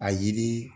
A yiri